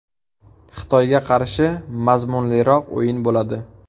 Xitoyga qarshi mazmunliroq o‘yin bo‘ladi.